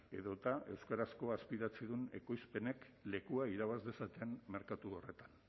edota euskarazko azpitituludun ekoizpenek lekua irabaz dezaten merkatu horretan